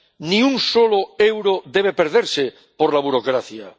Ni un solo euro debe perderse por la burocracia.